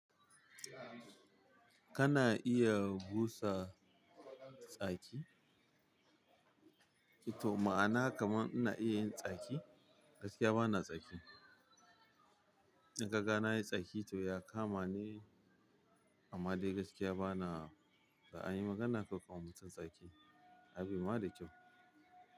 Kana iya busa tsaki? To ma'ana kaman ina iya yin tsaki. Gaskiya bana tsaki. In kaga na yi tsaki to ya kama ne, amma dai gaskiya bana. Da an yi magana kar kawa mutum tsaki, abin ba da kyau.